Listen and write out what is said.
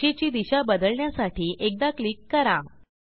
रेषेची दिशा बदलण्यासाठी एकदा क्लिक करा